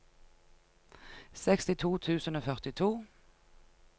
sekstito tusen og førtito